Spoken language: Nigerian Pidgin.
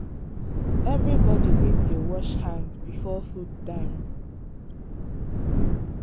everybody need dey wash hand before food time.